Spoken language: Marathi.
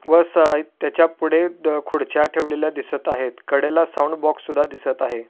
व साहित्याच्या पुढे खुर्च्या ठेवलेल्या दिसत आहेत कडेला साऊंड बॉक्स सुद्धा दिसत आहे.